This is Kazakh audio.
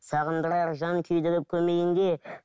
сағындырар жан күйдіріп көмейіңде